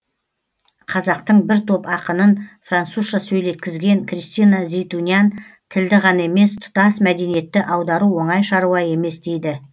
қазақтың бір топ ақынын французша сөйлеткізген кристина зейтунян тілді ғана емес тұтас мәдениетті аудару оңай шаруа емес дейді